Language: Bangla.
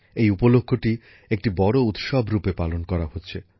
এই উপলক্ষ্যটি একটি বড় উৎসব রূপে পালন করা হচ্ছে